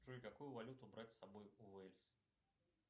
джой какую валюту брать с собой в уэльс